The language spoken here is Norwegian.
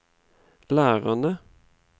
lærerne